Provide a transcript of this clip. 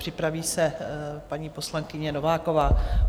Připraví se paní poslankyně Nováková.